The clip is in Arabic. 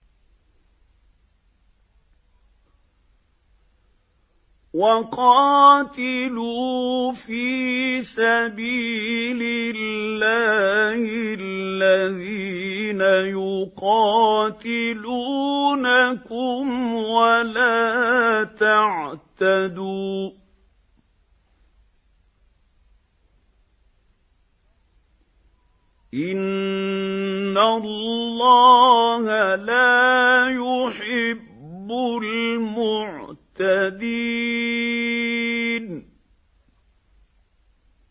وَقَاتِلُوا فِي سَبِيلِ اللَّهِ الَّذِينَ يُقَاتِلُونَكُمْ وَلَا تَعْتَدُوا ۚ إِنَّ اللَّهَ لَا يُحِبُّ الْمُعْتَدِينَ